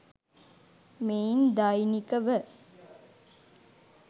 මෙයින් දෛනික ව